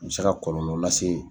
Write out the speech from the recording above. U bɛ se ka kɔlɔlɔ lase